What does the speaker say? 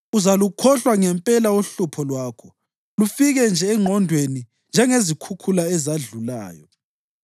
Uzalukhohlwa ngempela uhlupho lwakho, lufike nje engqondweni njengezikhukhula ezadlulayo.